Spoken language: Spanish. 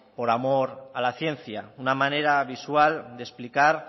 por amor a la ciencia una manera visual de explicar